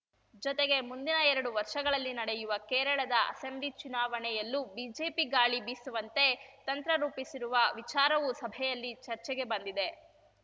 ಜೊತೆಗೆ ಮುಂದಿನ ಎರಡು ವರ್ಷಗಳಲ್ಲಿ ನಡೆಯುವ ಕೇರಳದ ಅಸೆಂಬ್ಲಿ ಚುನಾವಣೆಯಲ್ಲೂ ಬಿಜೆಪಿ ಗಾಳಿ ಬೀಸುವಂತೆ ತಂತ್ರರೂಪಿಸಿರುವ ವಿಚಾರವೂ ಸಭೆಯಲ್ಲಿ ಚರ್ಚೆಗೆ ಬಂದಿದೆ